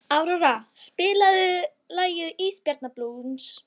Áróra, spilaðu lagið „Ísbjarnarblús“.